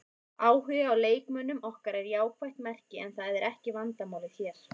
Áhugi á leikmönnum okkar er jákvætt merki en það er ekki vandamálið hér.